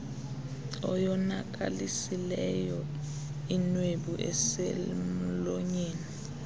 oyonakalisileyo inwebu eselmlonyeni